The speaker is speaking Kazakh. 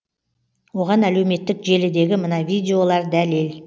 оған әлеуметтік желідегі мына видеолар дәлел